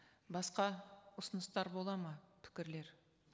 басқа ұсыныстар болады ма пікірлер